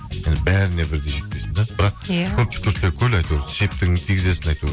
бәріне бірдей жетпейсің де бірақ иә көп түкрсе көл әйтеуір септігіңді тигізесің әйтеуір